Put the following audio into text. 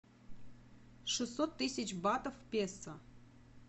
шестьсот тысяч батов в песо